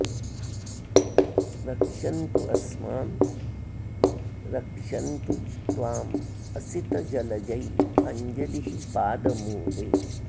रक्शन्तु अस्मान् रक्षन्तु त्वाम् असित जलजैः अञ्जलिः पाद मूले